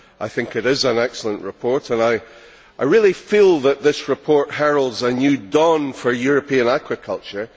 I think it is an excellent report and I really feel that this report heralds a new dawn for European aquaculture.